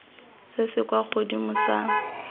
se se kwa godimo sa